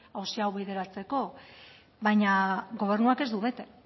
auzi hau bideratzeko baina gobernuak ez du bete